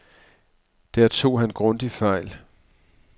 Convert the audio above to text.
Der tog han grundigt fejl.